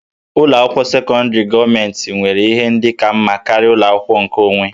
Ụlọ akwụkwọ sekọndrị gọọmentị nwere ihe ndị ka mma karịa ụlọ akwụkwọ nkeonwe